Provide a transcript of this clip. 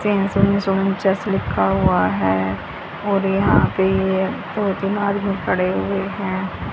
लिखा हुआ है और यहां पे ये दो तीन आदमी खड़े हुए हैं।